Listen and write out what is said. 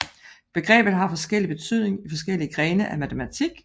Begrebet har forskellig betydning i forskellige grene af matematik